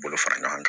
Bolo fara ɲɔgɔn kan